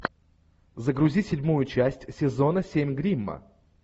загрузи седьмую часть сезона семь гримма